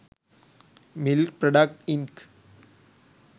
milk products inc